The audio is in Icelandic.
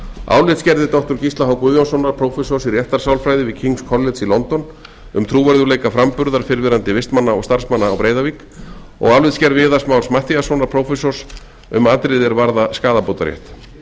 álitsgerðir doktor gísla h guðjónssonar prófessors í réttarsálfræði við kings college í london um trúverðugleika framburðar fyrrverandi vistmanna og starfsmanna á breiðavík og álitsgerð viðars más matthíassonar prófessors um atriði er varða skaðabótarétt